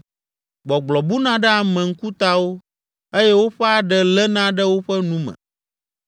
Gbɔgblɔ buna ɖe ame ŋkutawo eye woƒe aɖe léna ɖe woƒe nu me.